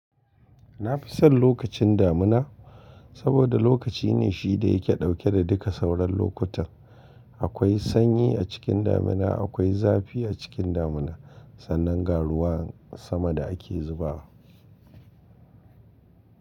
Na fi son lokacin damina saboda lokaci ne shi da yake dauke da duka sauran lokutan. Akwai sanyi a cikin damina akwai zafi a cikin damina. Sannan ga ruwan sama da ake zubawa.